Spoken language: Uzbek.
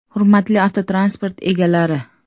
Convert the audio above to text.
“Hurmatli avtotransport egalari!